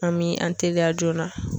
An mi an teliya joona